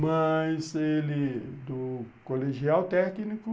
Mas ele, do colegial técnico,